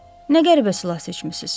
Nə qəribə silah seçmisiz.